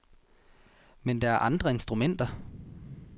Men der er andre instrumenter.